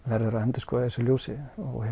verður að endurskoða í þessu ljósi